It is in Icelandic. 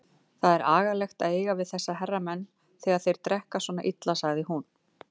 Það er agalegt að eiga við þessa hermenn þegar þeir drekka svona illa, sagði hún.